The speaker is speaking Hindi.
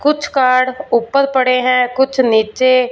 कुछ कार्ड ऊपर पड़े है कुछ नीचे--